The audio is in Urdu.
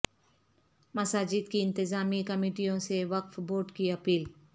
مساجد کی انتظامی کمیٹیوں سے وقف بورڈ کی اپیل